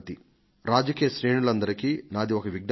రాజకీయ శ్రేణులన్నింటికీ ప్రత్యేకంగా నాదొక విజ్ఞప్తి